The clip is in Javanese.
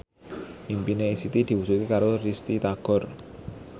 impine Siti diwujudke karo Risty Tagor